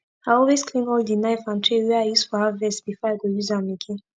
i always clean all d knife and tray wey i use for harvest before i go use am again